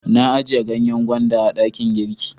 Na a jiya ganyen gwanda a dakin girki.